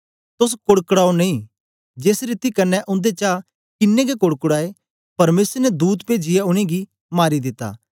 तोस कोड़कड़ाओ नेई जेस रीति कन्ने उन्देचा किन्नें गै कोड़कड़ाए परमेसर ने दूत पेजीयै उनेंगी मारी दित्ता